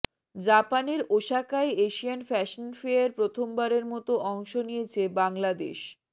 জাপানের ওসাকায় Asian fashion fair প্রথমবারের মতো অংশ নিয়েছে বাংলাদেশ